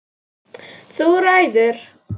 Þú ræður!